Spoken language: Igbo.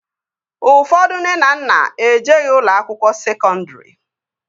Ụfọdụ nne na nna ejeghi ụlọ akwụkwọ sekọndri